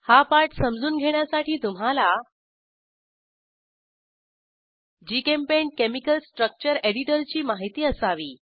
हा पाठ समजून घेण्यासाठी तुम्हाला जीचेम्पेंट केमिकल स्ट्रक्चर एडिटरची माहिती असावी